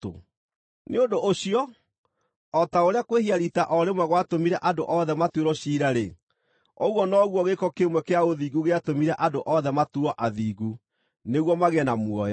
Nĩ ũndũ ũcio, o ta ũrĩa kwĩhia riita o rĩmwe gwatũmire andũ othe matuĩrwo ciira-rĩ, ũguo noguo gĩĩko kĩmwe kĩa ũthingu gĩatũmire andũ othe matuuo athingu nĩguo magĩe na muoyo.